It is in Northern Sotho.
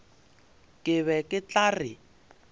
ke be ke tla re